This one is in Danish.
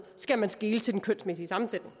skal man skele til den kønsmæssige sammensætning